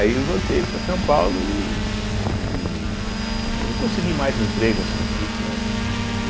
Aí eu voltei para São Paulo, né e e não consegui mais emprego, assim, fixo, né?